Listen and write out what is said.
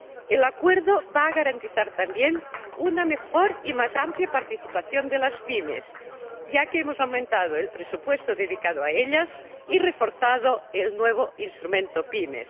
El acuerdo va a garantizar también una mejor y más amplia participación de las PYME, ya que hemos aumentado el presupuesto dedicado a ellas y reforzado el nuevo Instrumento PYME.